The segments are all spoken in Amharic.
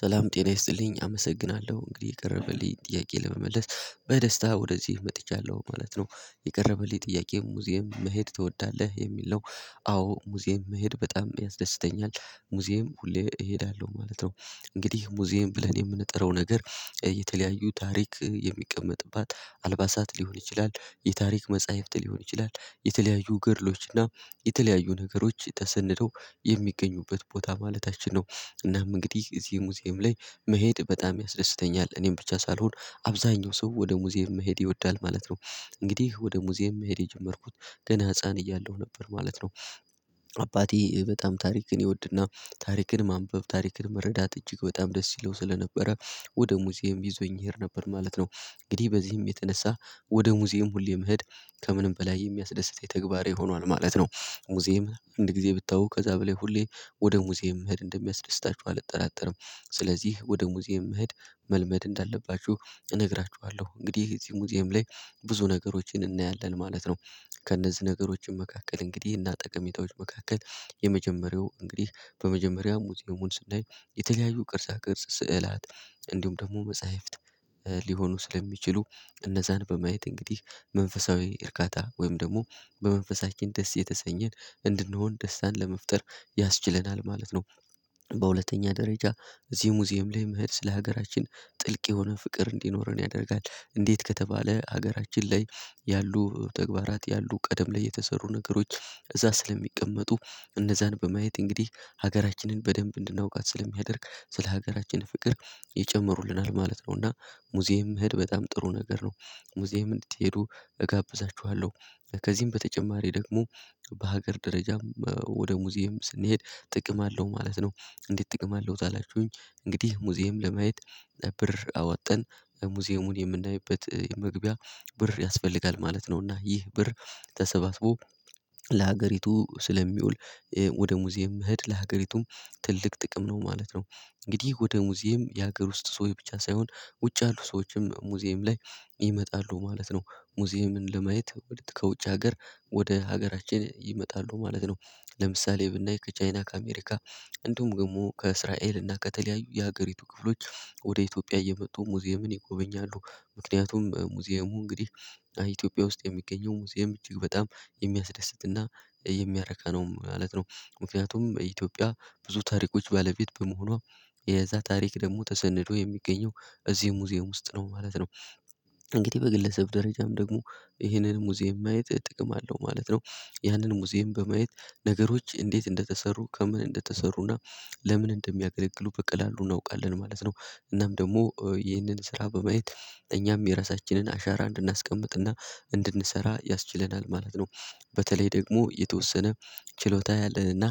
ሰላም ጤና ይስጥልኝ አመሰግናለሁ እንግዲህ የቀረበልኝ ጥያቄ ለመመለስ በደስታ ወደዚህ መጥቻለሁ ማለት ነው የቀረበልኝ ጥያቄ ሙዚየም መሄድ ትወዳለህ የሚል ነው አዎ ሙዚየም መሄድ በጣም ያስደስተኛል። ሙዚየም ሁሌ እሄዳለሁ ማለት ነው እንግዲህ ሙዚየም ብለህ የምንጠራው ነገር የተለያዩ ታሪክ የሚቀመጥባት አልባሳት ሊሆን ይችላል የታሪክ መጽሐፍት ሊሆን ይችላል የተለያዩ ግርሎች እና የተለያዩ ነገሮች ተሰንደው የሚገኙበት ቦታ ማለታችን ነው። እናም እንግዲህ እዚህ ሙዚየም ላይ መሄድ በጣም ያስደስተኛል እኔም ብቻ ሳልሆን አብዛኛው ሰው ወደ ሙዚየም መሄድ ይወዳል ማለት ነው። እንግዲህ ወደ ሙዚየም መሄድ የጀመርኩት ገና ህፃን እያለሁ ነበር ማለት ነው። አባቴ በጣም ታሪክን ይወድና ታሪክን ማንበብ ታሪክን መረዳት እጅግ በጣም ደስ ይለው ስለነበረ ወደ ሙዚየም ይዞኝ እሄድ ነበር ማለት ነው። እንግዲህ በዚህም የተነሳ ወደ ሙዚየም ሁሌ መሄድ ከምንም በላይ የሚያስደስት የተግባር ይሆናል ማለት ነው። ሙዚየም አንድ ጊዜ ብታውቅ ከዛ በላይ ሁሌ ወደ ሙዚየም እንደሚያስደስታችሁ አልጠራጠርም። ስለዚህ ወደ ሙዚየም መሄድ መልመድ እንዳለባችሁ እነግራችኋለሁ እንግዲህ የዚህ ሙዚየም ላይ ብዙ ነገሮችን እናያለን ማለት ነው። ከእነዚህ ነገሮችን መካከል እንግዲህ እና ጠቀሜታዎች መካከል የመጀመሪያው እንግዲህ በመጀመሪያው ሙዚየሙን ስንደርስ የተለያዩ ቅርጻ ቅርጽ ስዕላት እንዲሁም ደግሞ መጽሐፍት ሊሆኑ ስለሚችሉ እነዛን በማየት እንግዲህ መንፈሳዊ እርካታ ወይም ደግሞ በመንፈሳችን ደስ የተሰኘን እንድንሆን ደስታን ለመፍጠር ያስችለናል ማለት ነው። በሁለተኛ ደረጃ እዚህ ሙዚየም ላይ መሄድ ስለ ሀገራችን ጥልቅ የሆነ ፍቅር እንዲኖረን ያደርጋል እንዴት ከተባለ ሀገራችን ላይ ያሉ ተግባራት ያሉ ቀደም ላይ የተሰሩ ነገሮች እዛ ስለሚቀመጡ እነዛን በማየት እንግዲህ ሀገራችንን በደንብ እንድናውቃት ስለሚያደርግ ስለ ሀገራችን ፍቅር የጨመሩልናል ማለት ነው። እና ሙዚየም እህድ በጣም ጥሩ ነገር ነው። ሙዚየም እንድትሄዱ እጋብዛችኋለሁ። ከዚህም በተጨማሪ ደግሞ በሀገር ደረጃም ወደ ሙዚየም ስንሄድ ጥቅም አለው ማለት ነው። እንዴት ጥቅም አለው ካላችሁኝ እንግዲህ ሙዚየም ለማየት ብር አወጣን ሙዚየሙን የምናይበት መግቢያ ብር ያስፈልጋል ማለት ነው። እና ይህ ብር ተሰባስቦ ለሀገሪቱ ስለሚውል ወደ ሙዚየም መሄድ ለሀገሪቱም ትልቅ ጥቅም ነው ማለት ነው። እንግዲህ ወደ ሙዚየም የሀገር ውስጥ ሰው ብቻ ሳይሆን ውጭ ያሉ ሰዎችም ሙዚየም ላይ ይመጣሉ ማለት ነው። ሙዚየምን ለማየት ወደ ከውጭ ሀገር ወደ ሀገራችን ይመጣሉ ማለት ነው። ለምሳሌ ብናይ ከቻይና ከአሜሪካ እንደውም ግን ደሞ ከእስራኤል እና ከተለያዩ የሀገሪቱ ክፍሎች ወደ ኢትዮጵያ እየመጡ ሙዚየምን ይጎበኛሉ። ምክንያቱም ሙዚየሙ እንግዲህ ኢትዮጵያ ውስጥ የሚገኘው ሙዚየም እጅግ በጣም የሚያስደስትና የሚያረካ ነው ማለት ነው። ምክንያቱም በኢትዮጵያ ብዙ ታሪኮች ባለቤት በመሆኗ የዛ ታሪክ ደግሞ ተሰንዶ የሚገኘው እዚህ ሙዚየም ውስጥ ነው ማለት ነው። እንግዲህ በግለሰብ ደረጃም ደግሞ ይሄንን ሙዚየም ማየት ጥቅም አለው ማለት ነው። ያንን ሙዚየም በማየት ነገሮች እንዴት እንደተሰሩ ከምን እንደተሰሩና ለምን እንደሚያገለግሉ በቀላሉ እናውቃለን ማለት ነው። እናም ደግሞ ይህንን ስራ በማየት እኛም የራሳችንን አሻራ እንድናስቀምጥና እንድንሰራ ያስችለናል ማለት ነው። በተለይ ደግሞ የተወሰነ ችሎታ ያለንና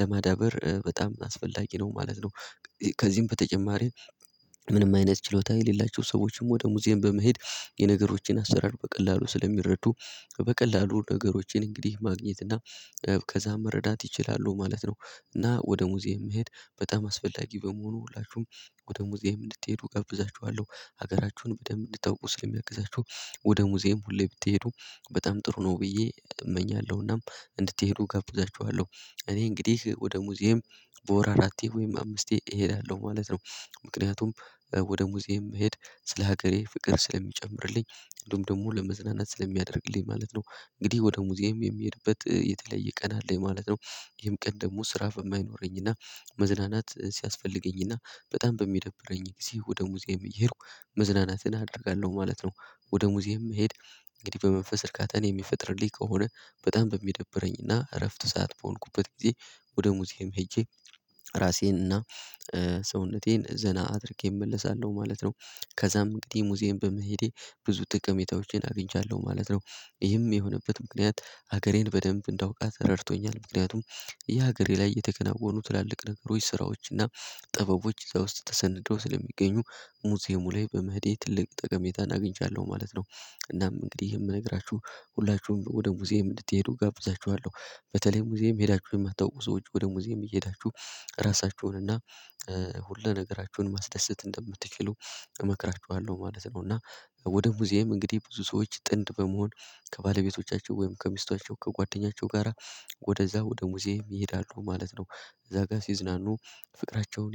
ለማዳበር በጣም አስፈላጊ ነው ማለት ነው። ከዚህም በተጨማሪ ምንም አይነት ችሎታ የሌላቸው ሰዎችም ወደ ሙዚየም በመሄድ የነገሮችን አሰራር በቀላሉ ስለሚረዱ በቀላሉ ነገሮችን እንግዲህ ማግኘት እና ከዛ መረዳት ይችላሉ ማለት ነው። እና ወደ ሙዚየም መሄድ በጣም አስፈላጊ በመሆኑ ሁላችሁም ወደ ሙዚየም እንድትሄዱ እጋብዛችኋለሁ። ሀገራችሁን በደንብ እንድታውቁ ስለሚያቅዛችሁ ወደ ሙዚየም ሁሌ ብትሄዱ በጣም ጥሩ ነው ብዬ እመኛለሁና እንድትሄዱ ገብቻችኋለሁ። እኔ እንግዲህ ወደ ሙዚየም በወር አራቴ ወይም አምስቴ እሄዳለሁ ማለት ነው። ምክንያቱም ወደ ሙዚየም መሄድ ስለ ሀገሬ ፍቅር ስለሚጨምርልኝ እንደውም ደግሞ ለመዝናናት ስለሚያደርግልኝ ማለት ነው። እንግዲህ ወደ ሙዚየም የሚሄድበት የተለያየ ቀን አለኝ ማለት ነው። ይሄም ቀን ደግሞ ስራ በማይኖረኝና መዝናናት ሲያስፈልገኝና በጣም በሚደብረኝ ጊዜ ወደ ሙዚየም እየሄድኩ መዝናናትን አደርጋለሁ ማለት ነው። ወደ ሙዚየም መሄድ እንግዲህ በመንፈስ እርካታ እኔ የሚፈጥርልኝ ከሆነ በጣም በሚደብረኝና እረፍት ሰዓት በሆንኩበት ጊዜ ወደ ሙዚየም ሄጄ ራሴንና ሰውነቴን ዘና አድርጌ እመለሳለሁ ማለት ነው። ከዛም እንግዲህ ሙዚየም በመሄዴ ብዙ ጥቀሜታዎችን አግኝቻለሁ ማለት ነው። ይህም የሆነበት ምክንያት ሀገሬን በደንብ እንዳውቃት ረድቶኛል ምክንያቱም የሀገሬ ላይ የተከናወኑ ትላልቅ ነገሮች ስራዎችና ጥበቦች ውስጥ ተሰንድረው ስለሚገኙ ሙዚየሙ ላይ በመሄዴ ትልቅ ጠቀሜታ አግኝቻለሁ ማለት ነው። እናም እንግዲህ የምነግራችሁ ሁላችሁም ወደ ሙዚየም እንድትሄዱ ጋብዛችኋለሁ በተለይም ሙዚየም ሄዳችሁ የማታውቁ ሰዎች ወደ ሙዚየም እየሄዳችሁ ራሳችሁን እና ሁሉ ነገራችሁን ማስደሰት እንደምትችሉ እመክራችኋለሁ ማለት ነው። እና ወደ ሙዚየም እንግዲህ ብዙ ሰዎች ጥንድ በመሆን ከባለቤቶቻቸው ወይም ከሚስቷቸው ከጓደኛቸው ጋራ ወደዛ ወደ ሙዚየም ይሄዳሉ ማለት ነው። እዛ ጋር ሲዝናኑ ፍቅራቸውን